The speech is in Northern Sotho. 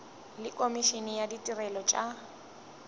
le komišene ya ditirelo tša